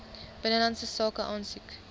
binnelandse sake aansoek